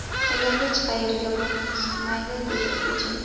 Ular hech qayerga burnini suqmaydi”, dedi Putin.